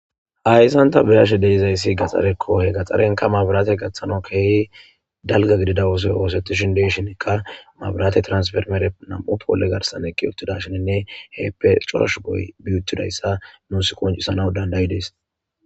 hayssan ta bi'ashe deizayssi gaxxarekko he gaxxarenka maabiraate gaththano keehi dalga gidida oosoy oosetishin deshinekka maabiraate transfermere nam'u poole garsan eqi uttidashininne heeppe cora shuboy bi uttidayssa nuus qoncisana dandayidees